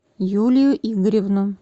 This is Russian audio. юлию игоревну